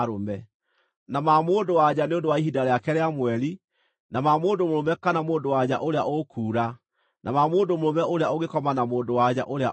na ma mũndũ-wa-nja nĩ ũndũ wa ihinda rĩake rĩa mweri, na ma mũndũ mũrũme kana mũndũ-wa-nja ũrĩa ũkuura, na ma mũndũ mũrũme ũrĩa ũngĩkoma na mũndũ-wa-nja ũrĩa ũrĩ na thaahu.